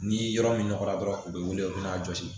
Ni yɔrɔ min nɔgɔra dɔrɔn u be wele u bɛna jɔsi